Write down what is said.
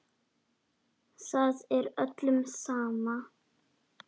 Það er öllum sama.